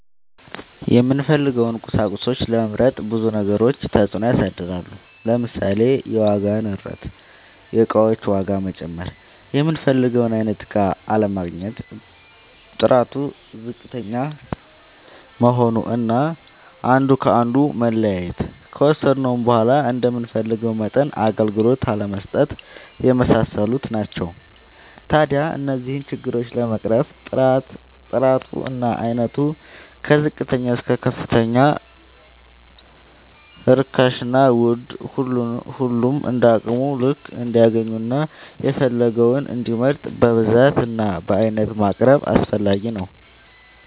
የምንፈልገውን ቁሳቁሶች ለመምረጥ ብዙ ነገሮች ተፅእኖ ያሳድራሉ። ለምሳሌ፦ የዋጋ ንረት(የእቃዎች ዋጋ መጨመር)፣ የምንፈልገውን አይነት እቃ አለማግኘት፣ ጥራቱ ዝቅተኛ መሆን አና አንዱ ከአንዱ መለያየት፣ ከወሰድነውም በዃላ እንደምንፈልገው መጠን አገልግሎት አለመስጠት የመሳሰሉት ናቸው። ታዲያ እነዚህን ችግሮች ለመቅረፍ ጥራቱ እና አይነቱ ከዝቅተኛ እስከ ከፍተኛ ርካሽና ውድ ሁሉም እንደየአቅሙ ልክ እንዲያገኝና የፈለገውን እንዲመርጥ በብዛት እና በአይነት ማቅረብ አስፈላጊ ነው።